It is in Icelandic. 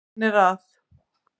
Hann er að